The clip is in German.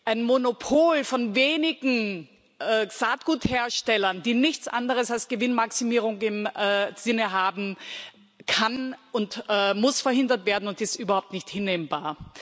Ein Monopol von wenigen Saatgutherstellern, die nichts anderes als Gewinnmaximierung im Sinn haben, kann und muss verhindert werden und ist überhaupt nicht hinnehmbar.